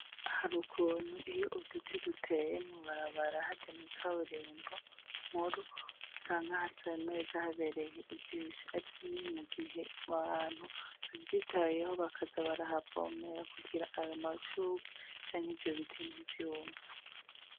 Hari ukuntu iyo uduti duteye mu mabarabara harya mw'ikaburimbo nkuru usanga hasa neza habereye ijisho. Ariko ni mugihe abantu bavyitayeho bakaza barahavomera kugira ayo mashurwe canke ivyo biti ntivyume.